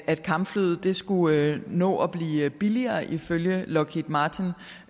at kampflyet skulle nå at blive billigere ifølge lockheed martin